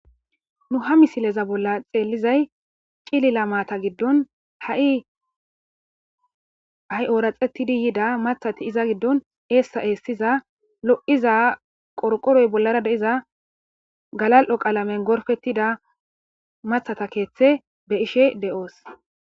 nu ha misileza bolla xeellizay cilila maata giddon ha7i hai ooraxettidi yida mathati iza giddon eessa eessiza lo7iza qorqoroy bollara de7iza galal7o qaalamen gorfettida mathata keeththe be ishe de7oos